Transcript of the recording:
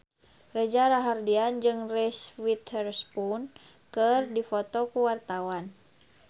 Reza Rahardian jeung Reese Witherspoon keur dipoto ku wartawan